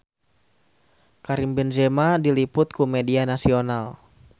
Karim Benzema diliput ku media nasional